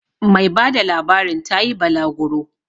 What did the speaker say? Mai bada labarin ta yi balaguro